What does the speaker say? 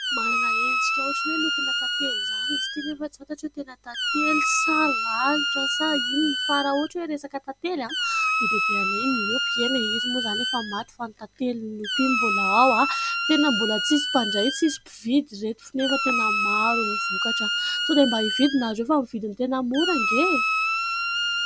Manana endrika ohatran'ny hoe lokona tantely izany izy ity nefa tsy fantatro hoe tena tantely sa lalitra sa inona. Fa raha ohatra hoe resaka tantely dia bebenay miompy. Eny e, izy moa izany efa maty fa ny tantely nompiany mbola ao, tena mbola tsisy mpandray, tsisy mpividy ry reto nefa tena maro ny vokatra. Sao dia mba hividy ianareo fa amin'ny vidiny tena mora anie e.